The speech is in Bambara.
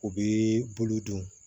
U bi bolo don